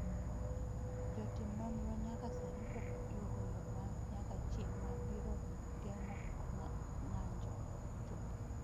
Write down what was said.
Jotim nonro nyaka sani pok yudo yo ma nyaka chieng’ ma biro geng’o ng’anjono chuth.